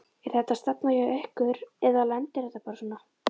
Er þetta stefna hjá ykkur eða lendir þetta bara svona?